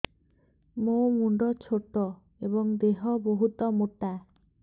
ମୋ ମୁଣ୍ଡ ଛୋଟ ଏଵଂ ଦେହ ବହୁତ ମୋଟା